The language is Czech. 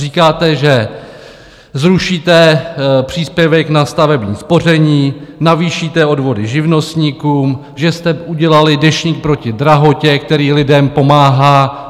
Říkáte, že zrušíte příspěvek na stavební spoření, navýšíte odvody živnostníkům, že jste udělali Deštník proti drahotě, který lidem pomáhá.